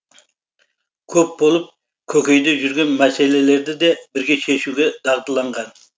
көп болып көкейде жүрген мәселелерді де бірге шешуге дағдыланған